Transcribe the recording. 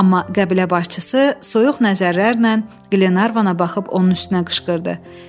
Amma qəbilə başçısı soyuq nəzərlərlə Qlenarvana baxıb onun üstünə qışqırdı: